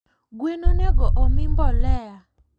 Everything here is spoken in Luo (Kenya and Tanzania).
Gwen onego omii mbolea?